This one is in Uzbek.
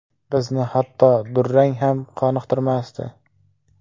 Bizni hatto durang ham qoniqtirmasdi.